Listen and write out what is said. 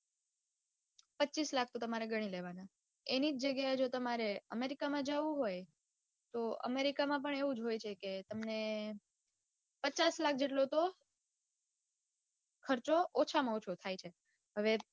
પચીસ લાખ તો તમારે ઘણી લેવાના એની જ જગ્યાએ જો તમારે america માં જાઉં હોય તો america માં પણ એવું જ હોય છે કે તમને પચાસ લાખ જેટલો તો ખર્ચો ઓછામાં ઓછો થાય છે. હવે